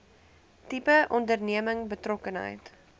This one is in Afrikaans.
tipe onderneming betrokkenheid